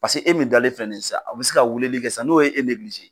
Paseke e min dalen fɛn nin ye sisan, a bɛ se ka weleli kɛ sisan n'o ye e